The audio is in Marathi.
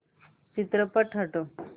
चित्रपट हटव